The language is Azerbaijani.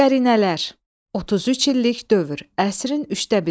Qərinələr, 33 illik dövr, əsrin üçdə biri.